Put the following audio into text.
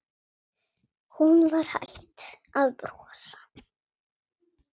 Hún var hætt að brosa.